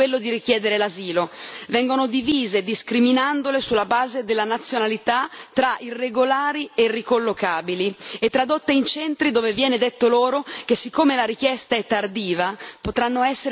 Vengono divise, discriminandole sulla base della nazionalità tra irregolari e ricollocabili, e tradotte in centri dove viene detto loro che siccome la richiesta è tardiva potranno essere trattenute fino ad un anno.